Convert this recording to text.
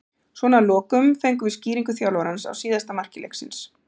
Svona að lokum fengum við skýringu þjálfarans á síðasta marki leiksins.